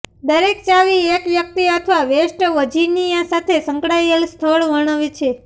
દરેક ચાવી એક વ્યક્તિ અથવા વેસ્ટ વર્જિનિયા સાથે સંકળાયેલ સ્થળ વર્ણવે છે